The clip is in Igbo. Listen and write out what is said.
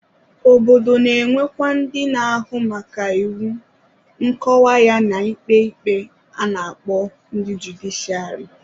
Obodo na-enwekwa ndị na-ahụ maka iwu, nkọwa ya na-ikpe ikpe a na-akpọ ndị judiciari.